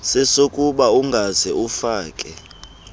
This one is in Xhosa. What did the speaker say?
sesokuba ungaze ufake